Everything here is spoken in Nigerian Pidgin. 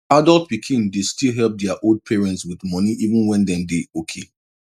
adult pikin dey still help dia old parents with money even when dem dey okay